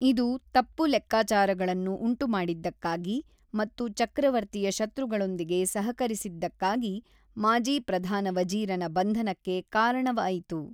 ಇದು ತಪ್ಪು ಲೆಕ್ಕಾಚಾರಗಳನ್ನು ಉಂಟುಮಾಡಿದ್ದಕ್ಕಾಗಿ ಮತ್ತು ಚಕ್ರವರ್ತಿಯ ಶತ್ರುಗಳೊಂದಿಗೆ ಸಹಕರಿಸಿದ್ದಕ್ಕಾಗಿ ಮಾಜಿ ಪ್ರಧಾನ ವಜೀರನ ಬಂಧನಕ್ಕೆ ಕಾರಣವಾಯಿತು.